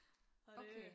Okay